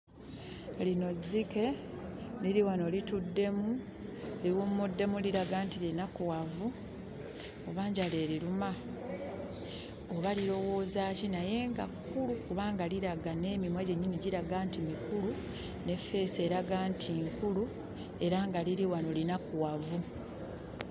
Lino zzike. Liri wano lituddemu, liwummuddemu liraga nti linakuwavu, oba njala eriruma? Oba lirowooza ki? Naye nga kkulu kubanga liraga n'emimwa gyennyini giraga nti mikulu ne ffeesi eraga nti nkulu era nga liri wamo linakuwavu.